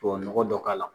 Tubabu nɔgɔ dɔ k'a la